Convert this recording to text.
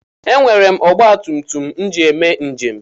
E nwere m ọgbatumtum m ji eme njem.